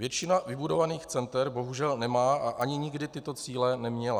Většina vybudovaných center bohužel nemá a ani nikdy tyto cíle neměla.